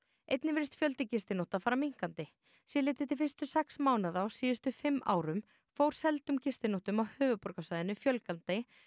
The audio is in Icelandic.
einnig virðist fjöldi gistinótta fara minnkandi sé litið til fyrstu sex mánaða á síðustu fimm árum fór seldum gistinóttum á höfuðborgarsvæðinu fjölgandi